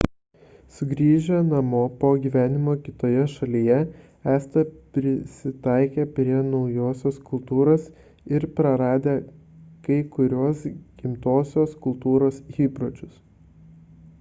sugrįžę namo po gyvenimo kitoje šalyje esatę prisitaikę prie naujosios kultūros ir praradę kai kuriuos gimtosios kultūros įpročius